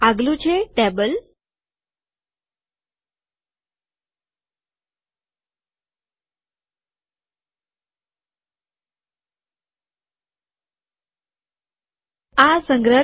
આગલું છે ટેબલ કોષ્ટક